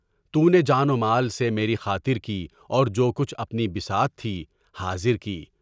تو نے جان و مال سے میری خاطر کی اور جو کچھ اپنی بساط تھی، حاضر کی۔